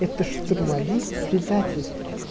это штурмовик предатель